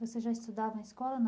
Você já estudava em escola ou não?